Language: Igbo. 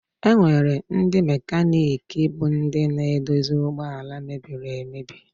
Enwere ndị mekaniki bụ ndị na-edozi ụgbọala mebiri emebi.